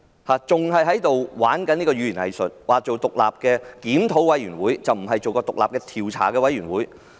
她還在玩弄語言"偽術"，說成立獨立檢討委員會，不是獨立調查委員會。